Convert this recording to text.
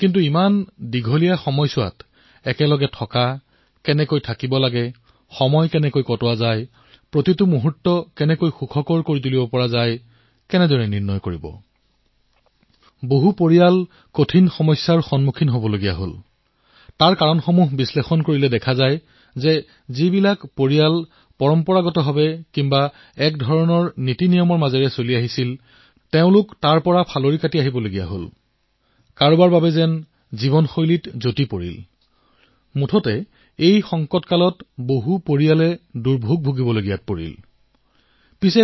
কিন্তু দীৰ্ঘসময়লৈ একে লগত থকা সময় অতিবাহিত কৰা প্ৰতিটো পল সুখেৰে ভৰা কিদৰে কৰিব পাৰে কিছুমান পৰিয়ালত সমস্যাৰ সৃষ্টি হৈছে আৰু ইয়াৰ কাৰণ হল যে আমাৰ যি পৰম্পৰা আছিল আজি ইয়াৰ অভাৱ অনুভূত হৈছে এনে লাগিছে যেন এনে বহু পৰিয়াল আছে যত এইসমূহ নোহোৱা হৈ পৰিছে আৰু ফলস্বৰূপে এই সংকটৰ সময়ছোৱাতো পৰিয়ালৰ সৈতে একে লগতে সময় কটোৱাটো কঠিন হৈ পৰিছে